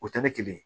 O tɛ ne kelen ye